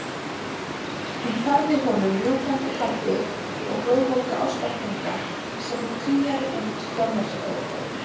Hún færði honum rjúkandi kaffi og glóðvolga ástarpunga sem hún kríaði út hjá Mörtu.